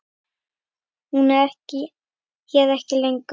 Hún er hér ekki lengur.